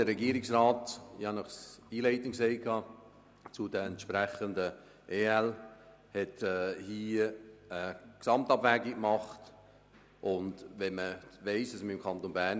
Der Verzicht auf die Entschädigung der Gemeinden ändert nichts an der bisherigen Aufteilung zwischen Kanton und Gemeinden gemäss Artikel 10. Artikel 29b